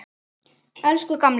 Elsku gamli.